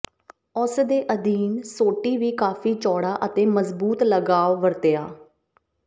ਉਸ ਦੇ ਅਧੀਨ ਸੋਟੀ ਵੀ ਕਾਫ਼ੀ ਚੌੜਾ ਅਤੇ ਮਜ਼ਬੂਤ ਲਗਾਵ ਵਰਤਿਆ